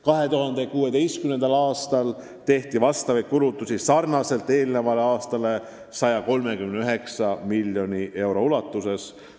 2016. aastal tehti neid kulutusi nagu eelmiselgi aastal 139 miljoni euro ulatuses.